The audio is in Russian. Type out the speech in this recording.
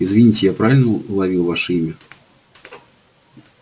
извините я правильно уловил ваше имя